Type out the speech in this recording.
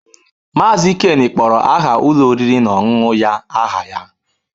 Mazị Ken kpọrọ aha ụlọ oriri na ọṅụṅụ ya aha ya.